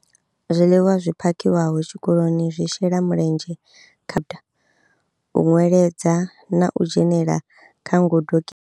Zwiḽiwa zwi phakhiwaho tshikoloni zwi shela mulenzhe kha u nweledza na u dzhenela kha ngudo ki.